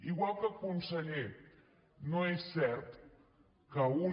igual que conseller no és cert que una